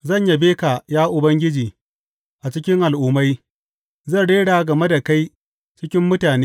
Zan yabe ka, ya Ubangiji, a cikin al’ummai; zan rera game da kai cikin mutane.